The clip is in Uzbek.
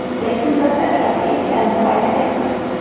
Lekin biz dastlabki ishlarni bajaryapmiz.